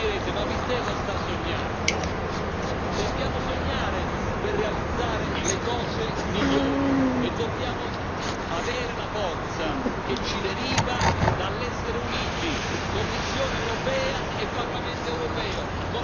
Dobbiamo sognare per realizzare le cose migliori e dobbiamo avere la forza che ci deriva dall'essere uniti Commissione europea e Parlamento europeo, come diceva Delors, mano nella mano.